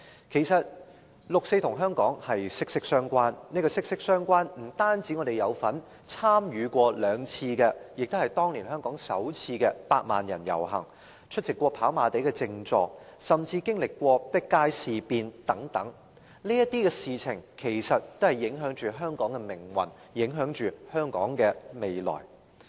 其實，六四與香港息息相關，這種息息相關，不僅是因為我們曾參與兩次——其中一次亦是香港的首次——百萬人遊行、出席跑馬地的靜坐，甚至經歷過碧街事變等，這些事情其實也影響着香港的命運和未來。